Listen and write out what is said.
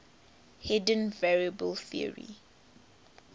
hidden variable theory